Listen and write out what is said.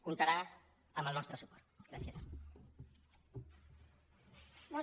comptarà amb el nostre suport